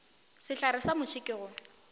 sehlare sa muši ke go